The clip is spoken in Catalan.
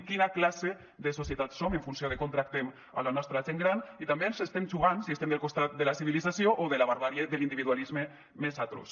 quina classe de societat som en funció de com tractem la nostra gent gran i també ens estem jugant si estem del costat de la civilització o de la barbàrie de l’individualisme més atroç